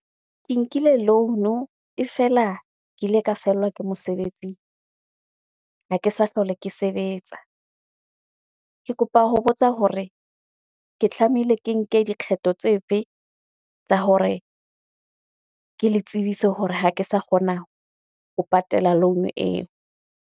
Ke nkile loan-o e fela ke ile ka fellwa ke mosebetsing, ha ke sa hlola ke sebetsa. Ke kopa ho botsa hore, ke tlamehile ke nke dikgetho tse fe tsa hore, ke le tsebise hore ha ke sa kgona ho patala loan eo.